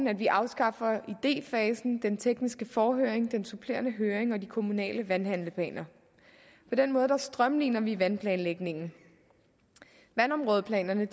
at vi afskaffer idéfasen den tekniske forhøring den supplerende høring og de kommunale vandhandleplaner på den måde strømliner vi vandplanlægningen vandområdeplanerne